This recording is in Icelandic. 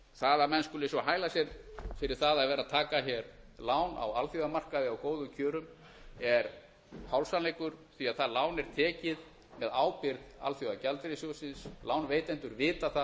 það að menn skuli svo hæla sér fyrir það að vera að taka hér lán á alþjóðamarkaði á góðum kjörum er hálfsannleikur því það lán er tekið með ábyrgð alþjóðagjaldeyrissjóðsins lánveitendur vita það